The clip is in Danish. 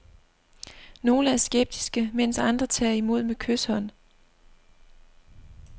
Nogle er skeptiske, mens andre tager imod med kyshånd.